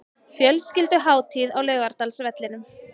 Fjölskylduhátíð á Laugardalsvellinum